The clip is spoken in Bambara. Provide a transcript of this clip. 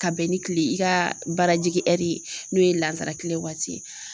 Ka bɛn ni kile , i ka baara jigin ye n'o ye lansara tile waati ye.